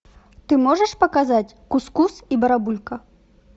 ты можешь показать кус кус и барабулька